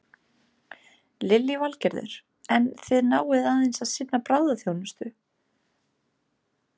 Lillý Valgerður: En þið náið aðeins að sinna bráðaþjónustu?